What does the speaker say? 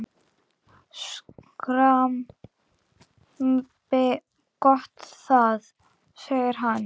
Skrambi gott það! segir hann.